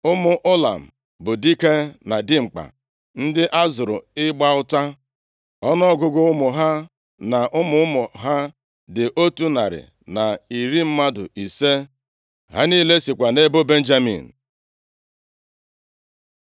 Ụmụ Ụlam bụ dike na dimkpa ndị a zụrụ ịgba ụta. Ọnụọgụgụ ụmụ ha na ụmụ ụmụ ha dị otu narị na iri mmadụ ise, 150. Ha niile sikwa nʼebo Benjamin.